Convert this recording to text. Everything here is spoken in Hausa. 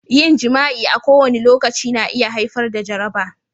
Yin jima'i a kowane lokaci na iya haifar da jaraba.